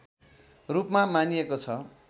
रूपमा मानिएको छ